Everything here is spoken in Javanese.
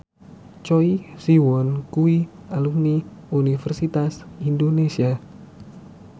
Choi Siwon kuwi alumni Universitas Indonesia